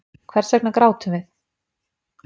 Hvers vegna grátum við?